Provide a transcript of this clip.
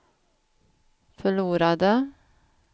förlorade